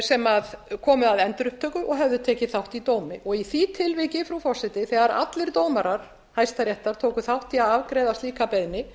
sem komu að endurupptöku og höfðu tekið þátt í dómi í því tilviki þegar allir dómarar hæstaréttar tóku þátt í að afgreiða slíka beiðni